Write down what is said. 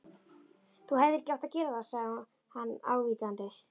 Þú hefðir ekki átt að gera það sagði hann ávítandi.